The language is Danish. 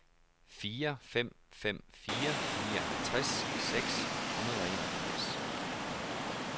fire fem fem fire nioghalvtreds seks hundrede og enogfirs